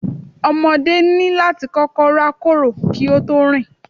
Ọmọdé ní láti kọ́kọ́ rákòrò kí ó tó rìn